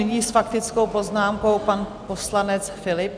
Nyní s faktickou poznámkou pan poslanec Philipp.